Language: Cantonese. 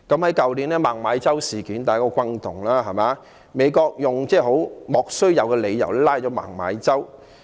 去年的孟晚舟事件相當轟動，美國用莫須有的理由拘捕孟晚舟。